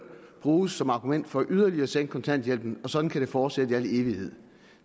bruges som argument for yderligere at sænke kontanthjælpen og sådan kan det fortsætte i al evighed